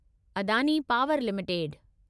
Adani power limited